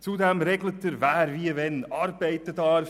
Zudem regelt er, wer wie und wann arbeiten darf;